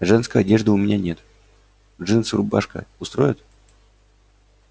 женской одежды у меня нет джинсы и рубашка устроят